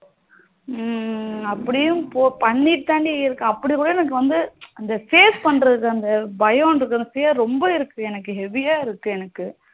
உம் அப்படினு பண்ணிட்டு தான் டி இருக்கேன் அப்படிக்குட எனக்கு அந்த face பண்ணுறது அந்த பயம் இன்ற்றது ரொம்ப இருக்கு டி எனக்கு heavy ஆ இருக்கு எனக்கு